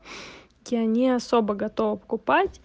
я не особо готова покупать